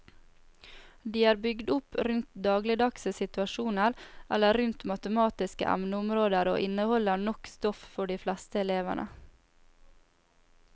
De er bygd opp rundt dagligdagse situasjoner eller rundt matematiske emneområder og inneholder nok stoff for de fleste elevene.